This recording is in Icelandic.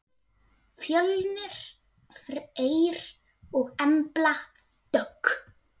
Fjölnir Freyr og Embla Dögg.